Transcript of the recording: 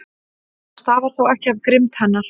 Það stafar þó ekki af grimmd hennar.